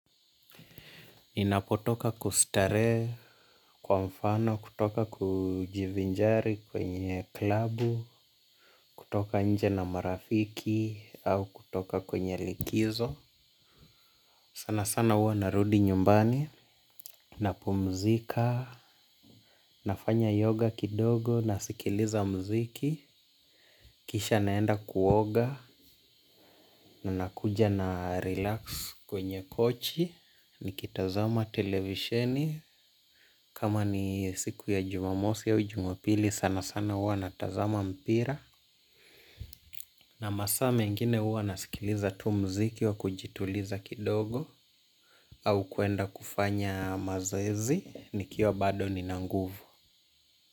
Ninapotoka kustarehe kwa mfano, kutoka kujivinjari kwenye klabu, kutoka nje na marafiki, au kutoka kwenye likizo. Sana sana huwa narudi nyumbani, napumzika, nafanya yoga kidogo, nasikiliza muziki kisha naenda kuoga, na nakuja na relax kwenye kochi, nikitazama televisheni. Kama ni siku ya Jumamosi au Jumapili sana sana huwa natazama mpira na masaa mengine huwa nasikiliza tu muziki wa kujituliza kidogo au kwenda kufanya mazoezi nikiwa bado nina nguvu.